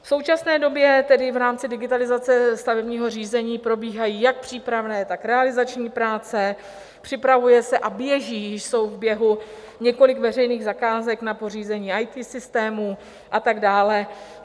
V současné době tedy v rámci digitalizace stavebního řízení probíhají jak přípravné, tak realizační práce, připravuje se a běží, jsou v běhu, několik veřejných zakázek na pořízení IT systémů a tak dále.